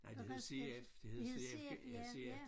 Beredskab det hed CF ja